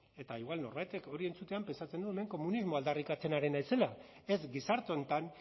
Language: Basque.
eta igual norbaitek hori entzutean prestatzen du hemen komunismo aldarrikatzen ari naizela ez gizarte honetan